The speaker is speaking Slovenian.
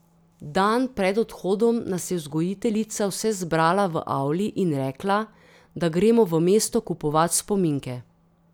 Dan pred odhodom nas je vzgojiteljica vse zbrala v avli in rekla, da gremo v mesto kupovat spominke.